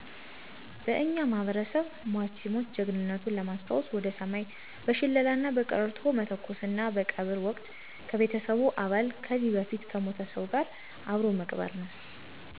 በእኛ ማህበረሰብ ሟች ሲሞት ጀግንነቱን ለማሰታወሰ ወደ ሰማይ በሸለላና በቀረርቶ መተኮሰና በቀብር ወቅት ከቤተሰቡ አባል ከዚህ በፊት ከሞተ ሰው ጋር አብሮ መቅበር ነው።